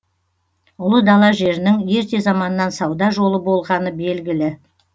ұлы дала жерінің ерте заманнан сауда жолы болғаны белгілі